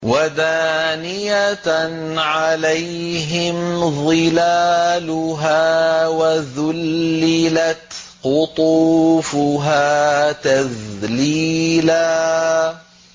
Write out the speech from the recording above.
وَدَانِيَةً عَلَيْهِمْ ظِلَالُهَا وَذُلِّلَتْ قُطُوفُهَا تَذْلِيلًا